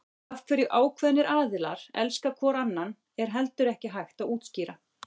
Af hverju ákveðnir aðilar elska hvor annan er heldur ekki hægt að útskýra.